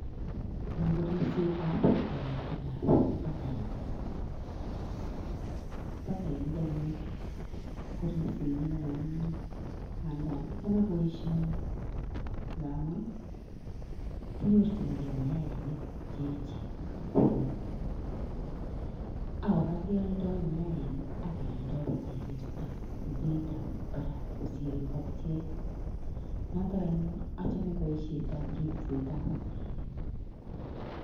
Ni koribsetab toritik ab batainik, batainik anyun ko ripsenyin ko manyumnyum nganda achame boiioni ngamun kinyorjinge mayaanik che echen ak ko anyiny. Ak kora kealda mayaanik ak kealdo bataainichuto en beit nemi barak kosir ngokiet. Noton anyun achame boisietab ripsetab batainik.